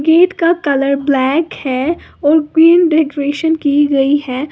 Gate का colour black है और ग्रीन डेकोरेशन की गई है।